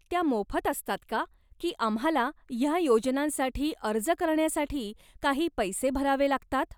त्या मोफत असतात का, की आम्हाला ह्या योजनांसाठी अर्ज करण्यासाठी काही पैसे भरावे लागतात?